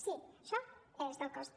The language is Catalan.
sí això és del cost